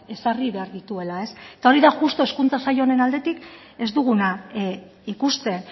ezarri behar dituela eta hori da justu hezkuntza sail honen aldetik ez duguna ikusten